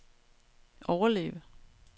overleve